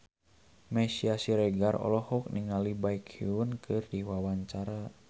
Meisya Siregar olohok ningali Baekhyun keur diwawancara